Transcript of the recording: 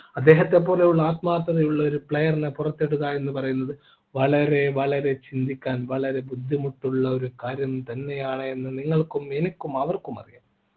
അദ്ദേഹത്തെപ്പോലുള്ള ആത്മാർത്ഥതയുള്ള ഒരു player നെ പുറത്തിടുക എന്ന് പറയുന്നത് വളരെ വളരെ ചിന്തിക്കാൻ വളരെ ബുദ്ധിമുട്ടുള്ള ഒരു കാര്യം തന്നെയാണ് എന്ന് നിങ്ങൾക്കും എനിക്കും അവർക്കും അറിയാം